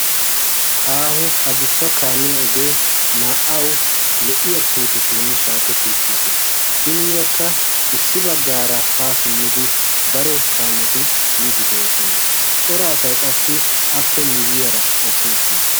aaho a dussa kaamiya ogee naa'au lo'iya puutetuun shaaketti uttiis. hiniirakka issi baggaara haa simmidi daro kaameti yiidi doosona. coraasay qassi appe miiyyiyaara eqqi uttiis.